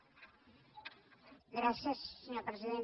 gràcies senyor president